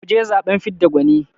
mu je zaɓen fidda gwani